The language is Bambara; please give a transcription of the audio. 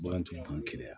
Bagantigiw b'u keleya